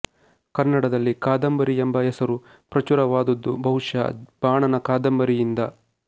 ಕನ್ನಡದಲ್ಲಿ ಕಾದಂಬರಿ ಎಂಬ ಹೆಸರು ಪ್ರಚುರವಾದುದು ಬಹುಶಃ ಬಾಣನ ಕಾದಂಬರಿಯಿಂದ